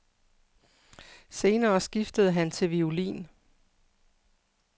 Senere skiftede han til violin.